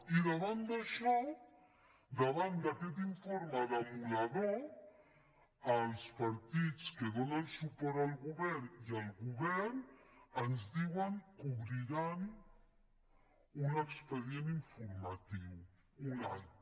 i davant d’això davant d’aquest informe demolidor els partits que donen suport al govern i el govern ens diuen que obriran un expedient informatiu un altre